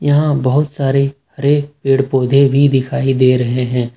यहां पर बहुत सारे हरे पेड़ पौधे भी दिखाई दे रहे हैं।